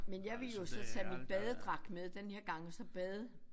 Men jeg ville jo så tage min badedragt med den her gang og så bade